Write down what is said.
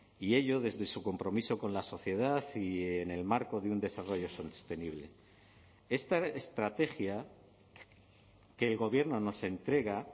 y ello desde su compromiso con la sociedad y en el marco de un desarrollo sostenible esta estrategia que el gobierno nos entrega